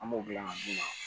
An b'o dilan ka d'u ma